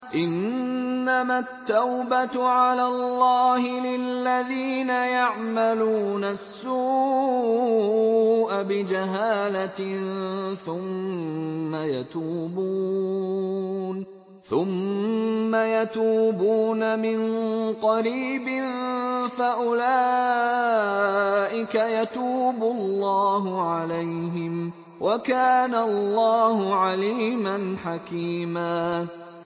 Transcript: إِنَّمَا التَّوْبَةُ عَلَى اللَّهِ لِلَّذِينَ يَعْمَلُونَ السُّوءَ بِجَهَالَةٍ ثُمَّ يَتُوبُونَ مِن قَرِيبٍ فَأُولَٰئِكَ يَتُوبُ اللَّهُ عَلَيْهِمْ ۗ وَكَانَ اللَّهُ عَلِيمًا حَكِيمًا